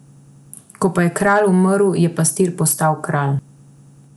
Ko pa je kralj umrl, je pastir postal kralj.